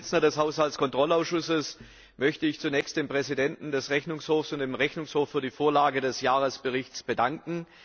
Als Vorsitzender des Haushaltkontrollausschusses möchte ich mich zunächst bei dem Präsidenten des Rechnungshofs und dem Rechnungshof für die Vorlage des Jahresberichts bedanken.